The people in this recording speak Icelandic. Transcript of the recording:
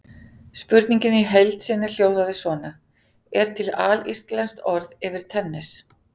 Spurningin í heild sinni hljóðaði svona: Er til alíslenskt orð yfir tennis?